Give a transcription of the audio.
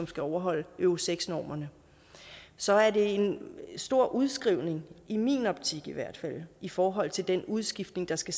skal overholde euro seks normerne så er det en stor udskrivning i min optik i hvert fald i forhold til den udskiftning der skal